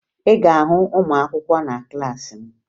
Ị ga-ahụ ụmụakwụkwọ na klaasị m